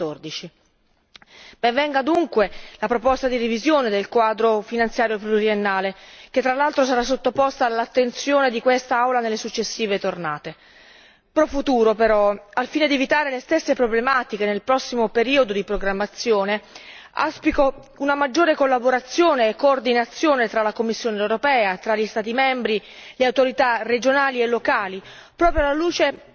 2014. Ben venga dunque la proposta di revisione del quadro finanziario pluriennale, che tra l'altro sarà sottoposta all'attenzione di quest'Aula nelle successive tornate. Per il futuro però, al fine di evitare le stesse problematiche nel prossimo periodo di programmazione, auspico una maggiore collaborazione e coordinamento tra la Commissione europea, tra gli Stati membri, tra autorità regionali e locali, proprio alla luce